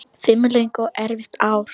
Fimm löng og erfið ár.